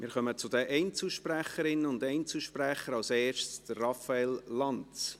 Wir kommen zu den Einzelsprecherinnen und Einzelsprechern, als Erster Raphael Lanz.